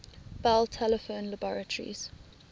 bell telephone laboratories